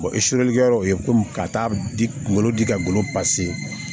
e kɛ o ye komi ka taa di kungolo di ka golo